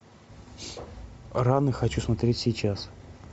раны хочу смотреть сейчас